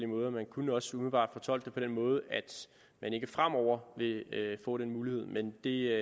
måder man kunne også umiddelbart fortolke det på den måde at man ikke fremover vil få den mulighed men det